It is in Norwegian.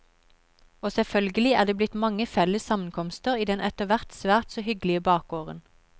Og selvfølgelig er det blitt mange felles sammenkomster i den etterhvert svært så hyggelige bakgården.